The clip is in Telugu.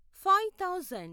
five thousand